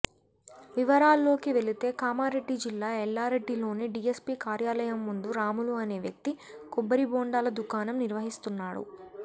వివరాల్లోకి వెళితే కామారెడ్డి జిల్లా ఎల్లారెడ్డిలోని డీఎస్పీ కార్యాలయం ముందు రాములు అనే వ్యక్తి కొబ్బరి బొండాల దుకాణం నిర్వహిస్తున్నాడు